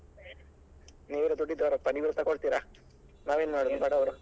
ನೀವೆಲ್ಲ ದುಡ್ಡಿದ್ದವ್ರಪಾ ನೀವ್ ಎಲ್ಲ ತಕೊಳ್ತೀರಾ ನಾವ್ ಏನ್ ಮಾಡುದು ಬಡವ್ರು.